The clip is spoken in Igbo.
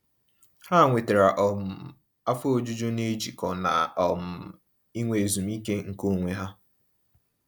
Ha nwetara um afọ ojuju n'ijikọ na um inwe ezumiike nke onwe ha.